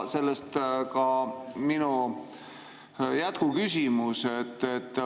Sellest ka minu jätkuküsimus.